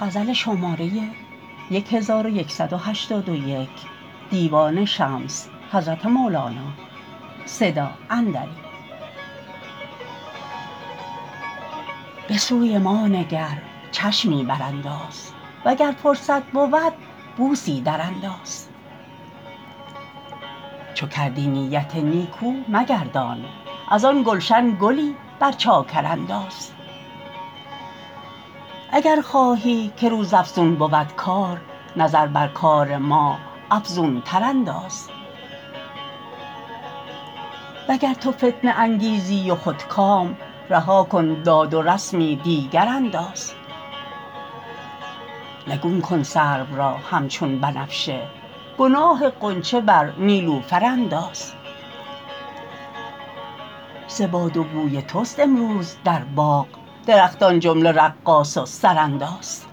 به سوی ما نگر چشمی برانداز وگر فرصت بود بوسی درانداز چو کردی نیت نیکو مگردان از آن گلشن گلی بر چاکر انداز اگر خواهی که روزافزون بود کار نظر بر کار ما افزونتر انداز وگر تو فتنه انگیزی و خودکام رها کن داد و رسمی دیگر انداز نگون کن سرو را همچون بنفشه گناه غنچه بر نیلوفر انداز ز باد و بوی توست امروز در باغ درختان جمله رقاص و سرانداز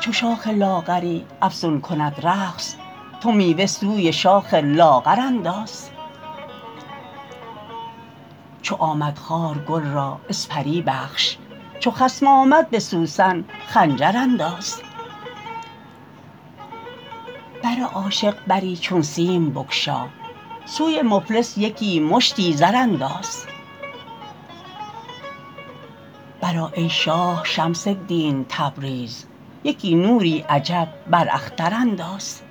چو شاخ لاغری افزون کند رقص تو میوه سوی شاخ لاغر انداز چو آمد خار گل را اسپری بخش چو خصم آمد به سوسن خنجر انداز بر عاشق بری چون سیم بگشا سوی مفلس یکی مشتی زر انداز برآ ای شاه شمس الدین تبریز یکی نوری عجب بر اختر انداز